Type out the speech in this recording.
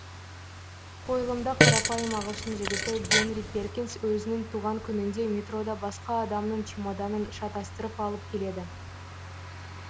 қойылымда қарапайым ағылшын жігіті генри перкинс өзінің туған күнінде метрода басқа адамның чемоданын шатастырып алып келеді